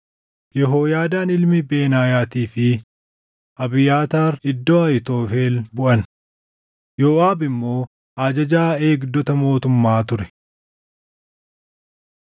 Yehooyaadaan ilmi Benaayaatii fi Abiyaataar iddoo Ahiitofel buʼan. Yooʼaab immoo ajajaa eegdota mootummaa ture.